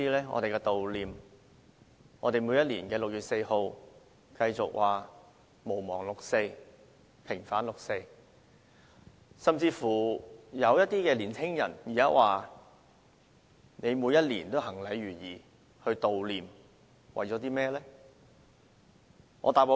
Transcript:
我們在每年的6月4日繼續說毋忘六四，平反六四，而一些年青人甚至問，我們每年行禮如儀地舉行悼念，為的是甚麼？